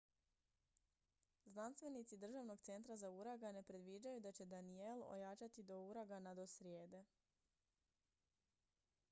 znanstvenici državnog centra za uragane predviđaju da će danielle ojačati do uragana do srijede